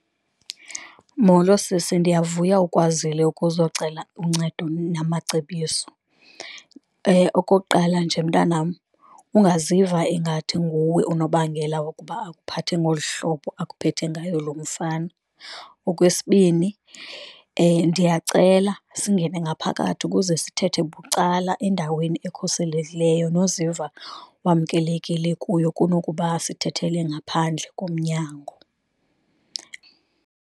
Molo sisi, ndiyavuya ukwazile ukuzocela uncedo namacebiso. Okokuqala, nje mntanam ungaziva ingathi nguwe unobangela wokuba akuphathe ngolu hlobo akuphethe ngayo loo mfana. Okwesibini, ndiyacela singene ngaphakathi ukuze sithethe bucala, endaweni ekhuselekileyo noziva wamkelekile kuyo, kunokuba sithethele ngaphandle komnyango.